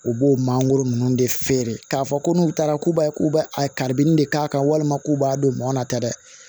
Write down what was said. U b'o mangoro ninnu de feere k'a fɔ ko n'u taara k'u b'a k'u b'a a karibini de k'a kan walima k'u b'a don mɔn na ta dɛ